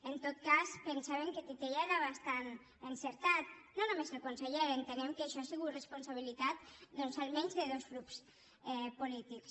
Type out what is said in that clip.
en tot cas pensàvem que titella era bastant encertat no només el conseller entenem que això ha sigut responsabilitat doncs almenys de dos grups polítics